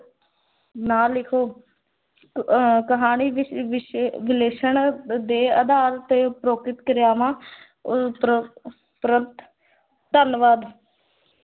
ਨਾ ਲਿਖੋ ਅਹ ਕਹਾਣੀ ਵਿਸਲੇਸ਼ਣ ਦੇ ਆਧਾਰ ਤੇ ਉਪਰੋਕਿਤ ਕਿਰਿਆਵਾਂ ਉਪਰ ਧੰਨਵਾਦ।